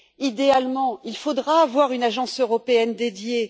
Idéalement, il faudra avoir une agence européenne dédiée.